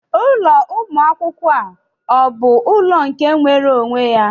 Ulọ Ụmụ akwụkwọ a ọ bụ ụlọ nke nwere onwe ya?